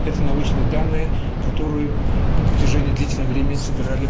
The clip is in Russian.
это научные данные которые на протяжении длительного времени собирали